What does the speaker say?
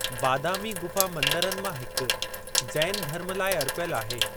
बादामी गुफ़ा मंदरनि मां हिकु जैन धर्म लाइ अर्पियलु आहे।